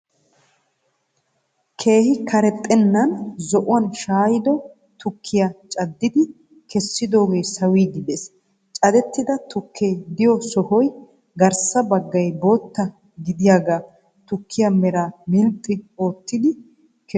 Keehi karexennan zo"uwan shaayido tukkiyaa caaddidi kessidoogee sawiidi de'ees. Cadettida tukkee de'iyoo sohoy garssa baggaay bootta gidiyaagee tukkiyaa meraa milxxi oottidi kessiis.